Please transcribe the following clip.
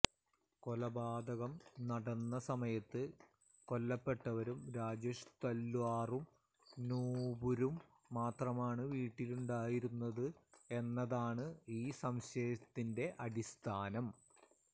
കൊലപാതകം നടന്ന സമയത്ത് കൊല്ലപ്പെട്ടവരും രാജേഷ് തല്വാറും നുപുരും മാത്രമാണ് വീട്ടിലുണ്ടായിരുന്നത് എന്നതാണ് ഈ സംശയത്തിന്റെ അടിസ്ഥാനം